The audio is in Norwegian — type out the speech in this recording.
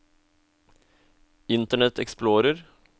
internet explorer